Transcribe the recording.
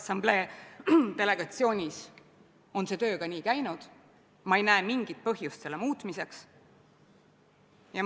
Enamikul Riigikogu liikmetel ei olnud võimalik osaleda sellel koosolekul, mida te kirjeldate, ja seetõttu me küsime küsimusi võib-olla lähtuvalt sellest, mida inimesed, kes koosolekul osalesid, on siin saalis väljendanud.